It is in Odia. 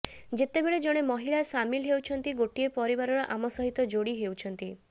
ଯେତେବେଳେ ଜଣେ ମହିଳା ସାମିଲ ହେଉଛନ୍ତି ଗୋଟିଏ ପରିବାର ଆମ ସହିତ ଯୋଡ଼ି ହେଉଛନ୍ତି